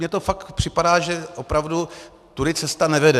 Mně to fakt připadá, že opravdu tudy cesta nevede.